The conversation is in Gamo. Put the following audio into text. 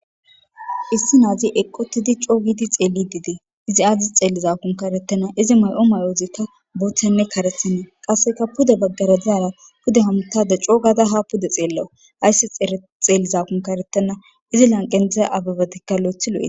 issi naazi eqqotidi coogidi xeelli didee izi aadis xeellizakunkarettena izi may7o may7ozikka buthenne karethinie qasseka puda baggara diara puda hamtada coo gada ha puda xeellawu ayssi xeellizakunka retena izi lanqentzaza ababatikka lo7ethilo7ee